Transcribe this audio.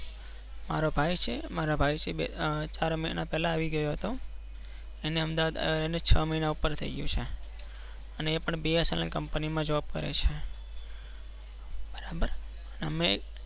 મારો ભાઈ છે. મારા ભાઈ થી બે ચાર મહિના પેલા આવી ગયો હતો. અને છ મહિના ઉપર થઇ ગૌ છે. અને એપણ Bsnl company માં Job કરે છે. બરાબર